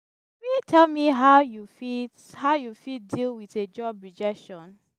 you fit tell me how you fit how you fit deal with a job rejection?